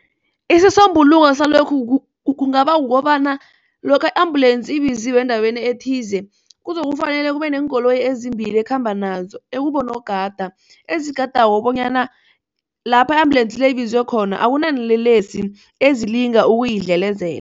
Isisombululo salokhu kungaba kukobana lokha i-ambulance ibiziwe endaweni ethize kuzokufanele kubeneenkoloyi ezimbili ekhamba nazo ekubonogada ezigadako bonyana lapha i- ambulance le ibizwe khona akunalelesi ezilinga ukuyidlelezela.